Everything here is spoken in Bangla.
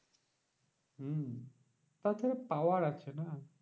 হম তারপরে power আছে না?